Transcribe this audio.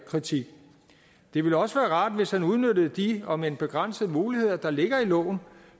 kritik det ville også være rart hvis han udnyttede de om end begrænsede muligheder der ligger i loven